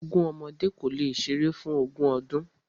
Ogún ọmọdé kò le ṣeré fún ogún ọdún.